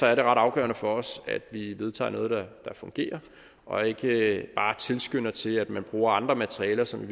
er det ret afgørende for os at vi vedtager noget der fungerer og ikke bare tilskynder til at man bruger andre materialer som